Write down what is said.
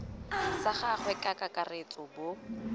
sa gagwe ka kakaretso bo